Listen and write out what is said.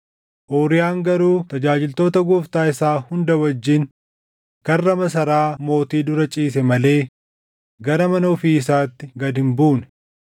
Uuriyaan garuu tajaajiltoota gooftaa isaa hunda wajjin karra masaraa mootii dura ciise malee gara mana ofii isaatti gad hin buune.